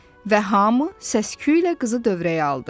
Və hamı səsküylə qızı dövrəyə aldı.